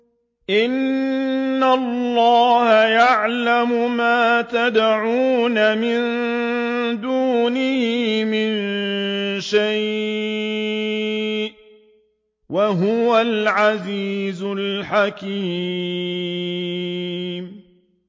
إِنَّ اللَّهَ يَعْلَمُ مَا يَدْعُونَ مِن دُونِهِ مِن شَيْءٍ ۚ وَهُوَ الْعَزِيزُ الْحَكِيمُ